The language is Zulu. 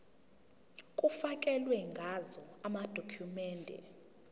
kufakelwe ngazo amadokhumende